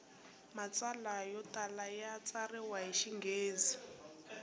matsalwa yo tala ya tsariwa hi xinghezi